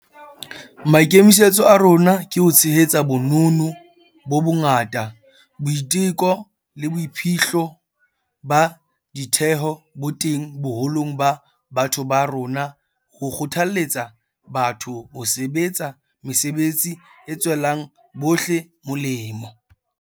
Maikemisetso a rona ke ho tshehetsa bonono bo bongata, boiteko le boiphihlo ba ditheho bo teng boholong ba batho ba rona ho kgothaletsa batho ho sebetsa mesebetsi e tswelang bohle melemo.